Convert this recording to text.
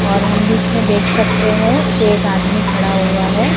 और हम बीच में देख सकते हैं कि एक आदमी खड़ा हुआ है।